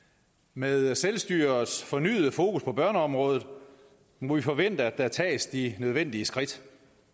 med selvstyrets fornyede fokus på børneområdet må vi forvente at der tages de nødvendige skridt